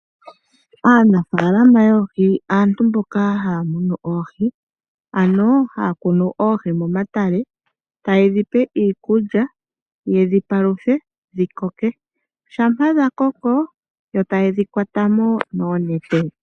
Aanafaalama yoohi aantu mboka haya munu oohi, ano haya kunu oohi momatale taye dhi pe iikulya ye dhi paluthe dhi koke shampa dha koko yo taye dhi kwata mo noonete.